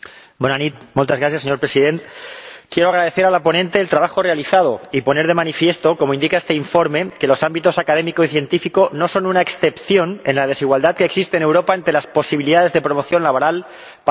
Señor Presidente, quiero agradecer a la ponente el trabajo realizado y poner de manifiesto ―como indica este informe― que los ámbitos académico y científico no son una excepción en la desigualdad que existe en Europa ante las posibilidades de promoción laboral para hombres y mujeres.